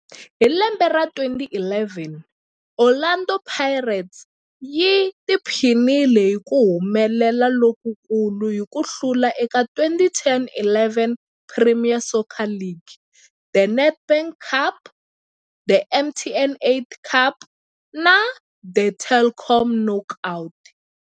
Hi lembe ra 2011, Orlando Pirates yi tiphinile hi ku humelela lokukulu hi ku hlula eka 2010-11 Premier Soccer League, The Nedbank Cup, The MTN 8 Cup na The Telkom Knockout.